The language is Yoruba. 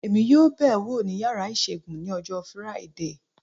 Èmi yóò bẹ̀ wò ní yàrá ìṣègùn ní ọjọ́ Friday